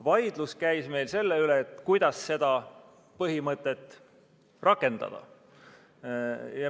Vaidlus käis meil selle üle, kuidas seda põhimõtet rakendada.